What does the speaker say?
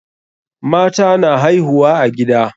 Mata na haihuwa a gida.